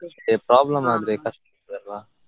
Problem ಆದ್ರೆ ಕಷ್ಟ ಆಗ್ತದಲ್ಲ.